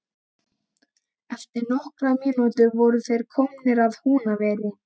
Eftir nokkrar mínútur voru þeir komnir að Húnaveri.